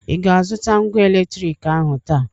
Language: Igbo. ị ga-azụta ngwa eletriki ahụ taa